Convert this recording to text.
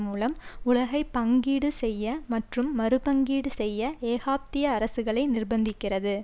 மூலம் உலகை பங்கீடு செய்ய மற்றும் மறுபங்கீடு செய்ய ஏகாப்த்திய அரசுகளை நிர்ப்பந்திக்கிறது